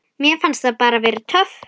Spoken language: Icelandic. Mér fannst það bara. töff.